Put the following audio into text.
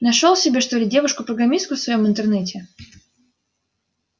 нашёл себе что ли девушку программистку в своём интернете